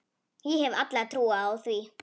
Ég hef alla trú á því.